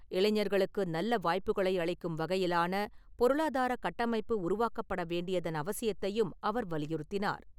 இளைஞர்களுக்கு நல்ல வாய்ப்புகளை அளிக்கும் வகையிலான பொருளாதார கட்டமைப்பு உருவாக்கப் படவேண்டியதன் அவசியத்தையும் அவர் வலியுறுத்தினார்.